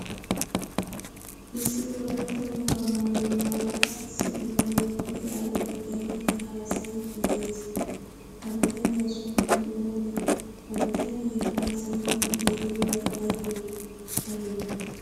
Issi wolaytta wogaa maayuwaa maayida issi bitane duge ayfiya xeellidi haasayidi de'ees. Ha bitaniya sunttay oone? Ha bitane haasayidi de'iyobay aybe aybe?